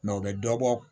o bɛ dɔ bɔ